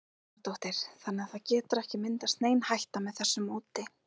Helga Arnardóttir: Þannig að það getur ekki myndast nein hætta með þessu móti?